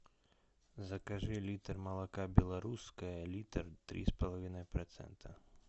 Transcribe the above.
закажи литр молока белорусское литр три с половиной процента